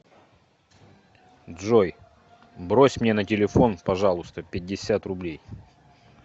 джой брось мне на телефон пожалуйста пятьдесят рублей